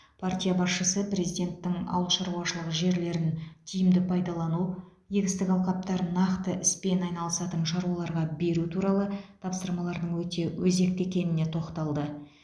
партия басшысы президенттің ауыл шаруашылығы жерлерін тиімді пайдалану егістік алқаптарын нақты іспен айналысатын шаруаларға беру туралы тапсырмаларының өте өзекті екеніне тоқталды